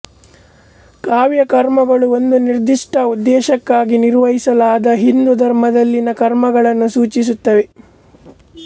ಕಾಮ್ಯ ಕರ್ಮಗಳು ಒಂದು ನಿರ್ದಿಷ್ಟ ಉದ್ದೇಶಕ್ಕಾಗಿ ನಿರ್ವಹಿಸಲಾದ ಹಿಂದೂ ಧರ್ಮದಲ್ಲಿನ ಕರ್ಮಗಳನ್ನು ಸೂಚಿಸುತ್ತವೆ